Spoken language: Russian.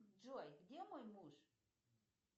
джой где мой муж